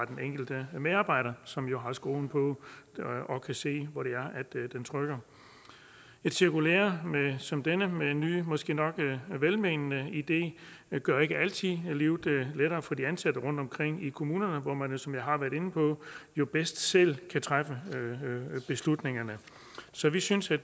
den enkelte medarbejder som jo har skoen på og kan se hvor det er den trykker et cirkulære som det her med en ny måske nok velmenende idé gør ikke altid livet lettere for de ansatte rundtomkring i kommunerne hvor man som jeg har været inde på jo bedst selv kan træffe beslutningerne så vi synes det